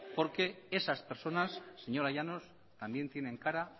porque esas personas señora llanos también tienen cara